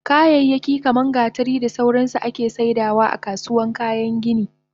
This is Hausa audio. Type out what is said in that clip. Kayayyaki kaman gatari da sauransu ake saidawa akasuwan kayan gini